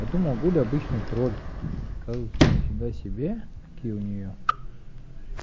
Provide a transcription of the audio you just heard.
я думал гуля обычный тролль оказывается нифига себе какие у неё